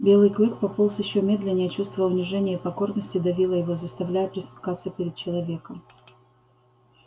белый клык пополз ещё медленнее чувство унижения и покорности давило его заставляя пресмыкаться перед человеком